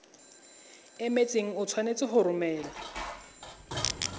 emetseng o tshwanetse go romela